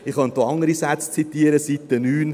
Ich könnte auch andere Sätze zitieren, Seite 9: